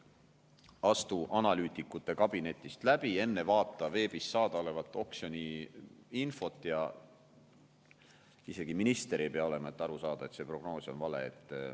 Astu analüütikute kabinetist läbi, vaata veebis saadaolevat oksjoniinfot – isegi minister ei pea olema, et aru saada, et see prognoos on vale.